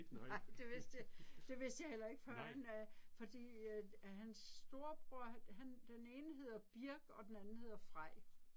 Nej det vidste jeg, det vidste jeg heller ikke førend øh fordi hans storebror han, den ene hedder Birk og den anden hedder Frej